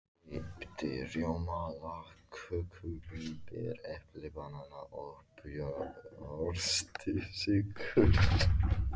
Keypti rjóma, lagköku, vínber, epli, banana og brjóstsykur.